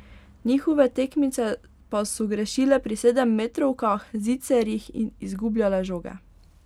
Njihove tekmice pa so grešile pri sedemmetrovkah, zicerjih in izgubljale žoge.